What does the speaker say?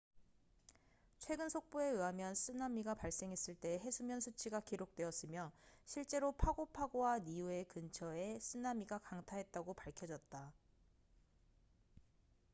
최근 속보에 의하면 쓰나미가 발생했을 때의 해수면 수치가 기록되었으며 실제로 파고 파고와 니우에 근처에 쓰나미가 강타했다고 밝혀졌다